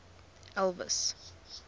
elvis